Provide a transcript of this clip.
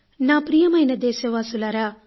నా ప్రియమైన దేశవాసులారా